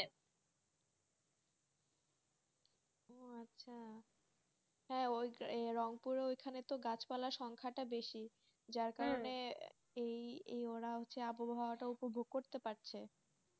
হ্যাঁ রংপুরের ওখানে গাছপালা সংখ্যাটা বেশি যার কারণে এই এই আবহাওয়া টা উপভোগ করতে পারছে,